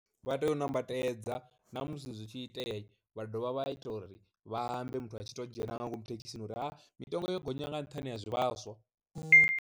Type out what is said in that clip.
Vha tea u nambatedza na musi zwi tshi itea vha dovha vha ita uri vha ambe muthu a tshi to dzhena nga ngomu thekhisini uri a mitengo yo gonya nga nṱhani ha zwivhaswa.